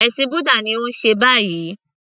Ẹ̀sìn búdà ni ó ń ṣe báyìí